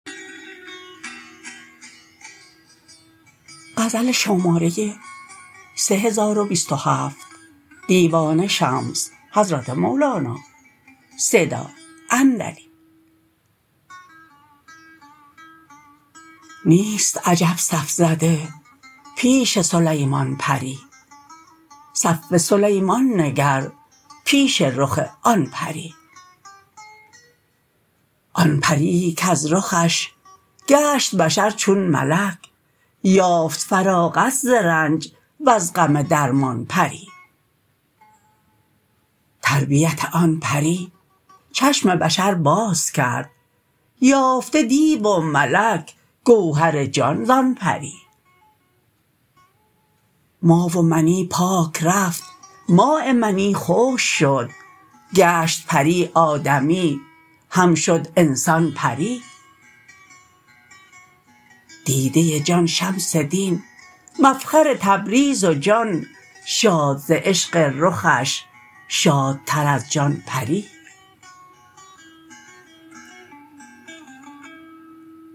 نیست عجب صف زده پیش سلیمان پری صف سلیمان نگر پیش رخ آن پری آن پریی کز رخش گشت بشر چون ملک یافت فراغت ز رنج وز غم درمان پری تربیت آن پری چشم بشر باز کرد یافته دیو و ملک گوهر جان زان پری ما و منی پاک رفت ماء منی خشک شد گشت پری آدمی هم شد انسان پری دیده جان شمس دین مفخر تبریز و جان شاد ز عشق رخش شادتر از جان پری